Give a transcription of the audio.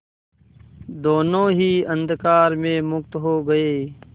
दोेनों ही अंधकार में मुक्त हो गए